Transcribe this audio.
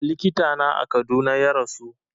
Likita na a Kaduna ya rasu